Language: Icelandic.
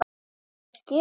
Það er gjöf.